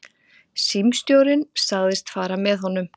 Símstjórinn sagðist fara með honum.